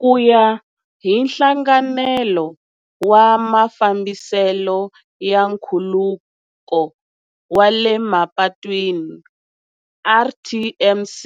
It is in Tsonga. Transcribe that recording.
Ku ya hi Nhlanganelo wa Mafambiselo ya Nkhuluko wa le Mapatwini, RTMC,